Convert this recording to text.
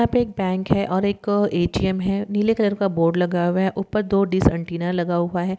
यहाँ पे एक बैंक है और एक ए_टी_एम है नीले कलर का बोर्ड लगा हुआ है ऊपर दो डिस ऐन्टेना लगा हुआ है।